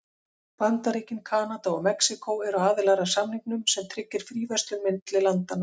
Bandaríkin, Kanada og Mexíkó eru aðilar að samningnum sem tryggir fríverslun milli landanna.